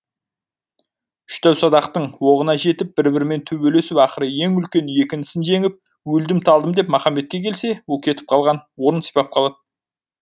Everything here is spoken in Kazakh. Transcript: үш дәу садақтың оғына жетіп бір бірімен төбелесіп ақыры ең үлкені екі інісін жеңіп өлдім талдым деп махамбетке келсе ол кетіп қалған орнын сипап қалады